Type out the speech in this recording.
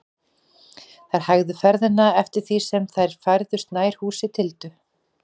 Þeir hægðu ferðina eftir því sem þeir færðust nær húsi Tildu.